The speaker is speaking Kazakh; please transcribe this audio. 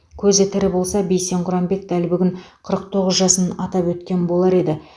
көзі тірі болса бейсен құранбек дәл бүгін қырық тоғыз жасын атап өткен болар еді